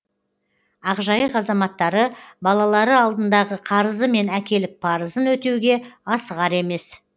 ақжайық азаматтары балалары алдындағы қарызы мен әкелік парызын өтеуге асығар емес